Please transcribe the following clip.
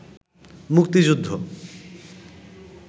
মুক্তিযুদ্ধ